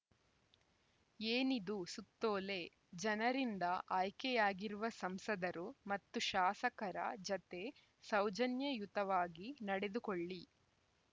ಏನಿದು ಸುತ್ತೋಲೆ ಜನರಿಂದ ಆಯ್ಕೆಯಾಗಿರುವ ಸಂಸದರು ಮತ್ತು ಶಾಸಕರ ಜತೆ ಸೌಜನ್ಯ ಯುತವಾಗಿ ನಡೆದುಕೊಳ್ಳಿ